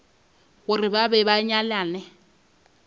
gore ba be ba nyalane